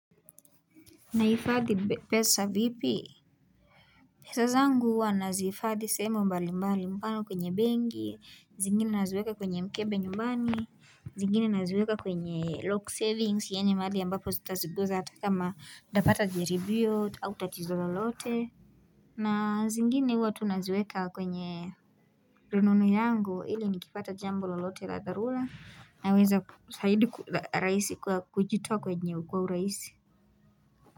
Nahifadhi pesa vipi? Pesa zangu huwa nazihifadhi sehemu mbalimbali mfano kwenye benki, zingine naziweka kwenye mkebe nyumbani, zingine naziweka kwenye lock savings yaani mahali ambapo sitazigusa hata kama nitapata jaribio au tatizo lolote na zingine huwa tu naziweka kwenye rununu yangu ili nikipata jambo lolote la dharura naweza zaidi rahisi kujitoa kwenye kwa urahisi.